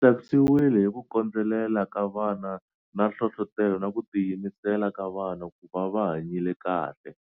Ndzi tsakisiwile hi ku kondzelela ka vana na hlohlotelo na ku tiyimisela ka vona ku va va hanyile kahle.